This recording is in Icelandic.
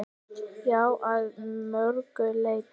Já, að mörgu leyti.